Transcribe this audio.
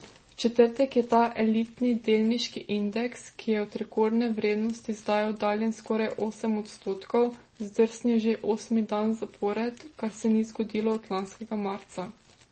V četrtek je ta elitni delniški indeks, ki je od rekordne vrednosti zdaj oddaljen skoraj osem odstotkov, zdrsnil že osmi dan zapored, kar se ni zgodilo od lanskega marca.